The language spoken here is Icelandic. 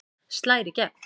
Slær í gegn